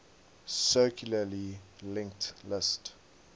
circularly linked list